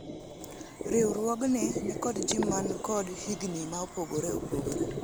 riwruogni nikod jii man kod higni ma opogore opogore